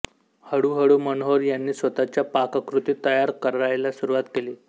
हळुहळु मनोहर यांनी स्वतःच्या पाककृती तयार करायला सुरुवात केली